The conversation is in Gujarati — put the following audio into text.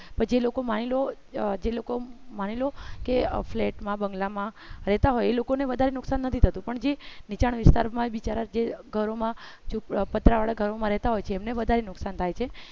પછી લોકો માની જે લોકો માની લોકો ઓં flat માં બંગલામાં રહેતા હોય એ લોકોને વધારે નુકસાન નથી થતું પણ જે વેચાણ વિસ્તારમાં બિચારાને ઘરોમાં પતરાવાળા ઘરોમાં રહેતા હોય તેમને વધારે નુકસાન થાય છે